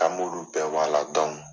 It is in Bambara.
An b'ulu bɛɛ bo a la